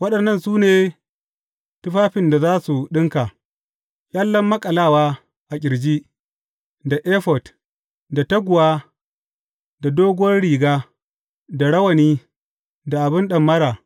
Waɗannan su ne tufafin da za su ɗinka, ƙyallen maƙalawa a ƙirji, da efod, da taguwa, da doguwar riga, da rawani, da abin ɗamara.